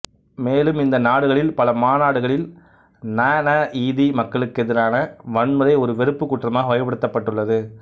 மேலும் இந்த நாடுகளில் பல நாடுகளில் நநஈதி மக்களுக்கெதிரான வன்முறை ஒரு வெறுப்பு குற்றமாக வகைப்படுத்தப்பட்டுள்ளது